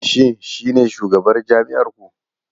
Shin shi ne shugabar jami'ar ku ne?